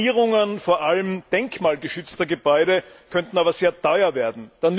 Sanierungen, vor allem denkmalgeschützter Gebäude, könnten aber sehr teuer werden.